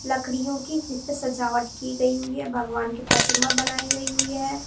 लकड़ियों की जिस पे सजावट की गई हुई है भगवान की प्रतिमा बनाई गई हुई है।